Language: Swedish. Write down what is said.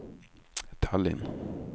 Tallinn